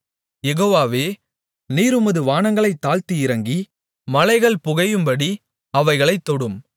யெகோவாவே நீர் உமது வானங்களைத் தாழ்த்தி இறங்கி மலைகள் புகையும்படி அவைகளைத் தொடும்